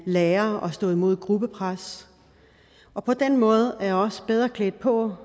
lærer at stå imod et gruppepres og på den måde er de også bedre klædt på